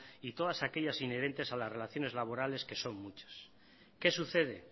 y todas aquellas inherentes a las relaciones laborales que son muchas qué sucede